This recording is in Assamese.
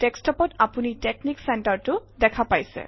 ডেস্কটপত আপুনি টেক্সনিক center টো দেখা পাইছে